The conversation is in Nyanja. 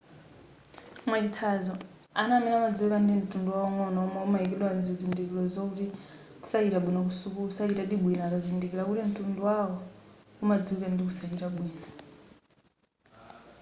mwachitsanzo ana amene amadziwika ndi mtundu waung'ono omwe amayikidwa zizindikiro zokuti sachita bwino ku sukulu sachitadi bwino akazindikila kuti mtundu wawo umadziwika ndi kusachita bwino